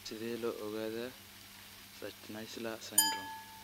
Sidee loo ogaadaa Schnitzler syndrome?